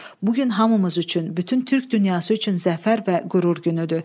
Bu gün hamımız üçün, bütün Türk dünyası üçün zəfər və qürur günüdür.